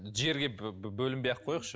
жерге бөлінбей ақ кояйықшы